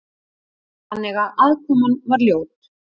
Þannig að aðkoman var ljót.